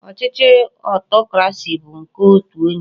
Ochichi Otokurasi bu nke otu onye